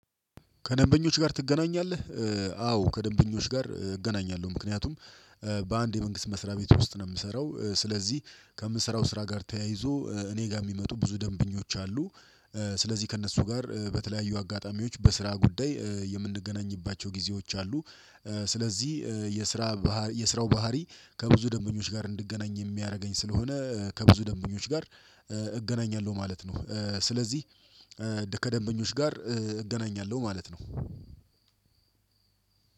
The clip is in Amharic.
ከደንበኞች ጋር ትገናኛለህ? አዎ ከደንበኞች ጋር እገናኛለሁ ምክንያቱም በአንድ የመንግስት መስሪያ ቤት ውስጥ ነው የምሰራው። ስለዚህ ከምሰራው ስራ ጋር ተያይዞ እኔ ጋር የሚመጡ ብዙ ደንብኞች አሉ። ስለዚህ ከእነሱ ጋር በተለያዩ አጋጣሚዎች በስራ ጉዳይ የምንገናኝባቸው ጊዜዎች አሉ። ስለዚህ የስራ የስራው ባህሪ ከብዙ ደንበኞች ጋር እንድገናኝ የሚያደርገኝ ስለሆነ ከብዙ ደንበኞች ጋር እገናኛለሁ ማለት ነው። ስለዚህ ከደንበኞች ጋር እገናኛለሁ ማለት ነው።